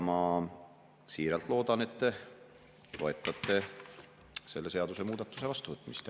Ma siiralt loodan, et te toetate selle seadusemuudatuse vastuvõtmist.